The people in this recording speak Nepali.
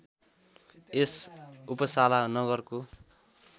यस उपसाला नगरको